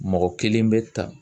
Mɔgɔ kelen bɛ ta